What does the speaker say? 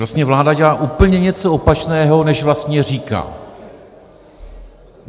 Vlastně vláda dělá úplně něco opačného, než vlastně říká.